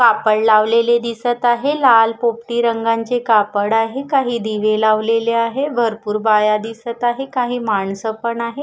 कापड लावलेले दिसत आहे लाल पोपटी रंगांचे कापड आहे काही दिवे लावलेले आहे भरपूर बाया दिसत आहे काही माणसं पण आहे.